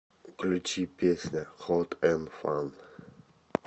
включи песня хот эн фан